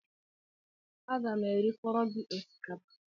Aga m erifọrọ gị osikapa?